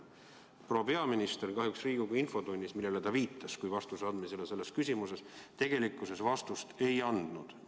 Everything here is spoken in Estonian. Proua peaminister kahjuks Riigikogu infotunnis, millele ta viitas kui vastuse andmise selles küsimuses, tegelikkuses vastust ei andnud.